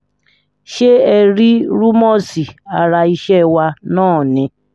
ṣé ẹ rí rúmọ́ọ̀sì ara iṣẹ́ wa náà ni